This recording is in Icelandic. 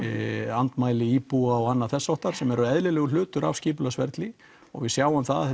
andmæli íbúa og annað þess háttar sem er eðlilegur hluti af skipulagsferli og við sjáum það að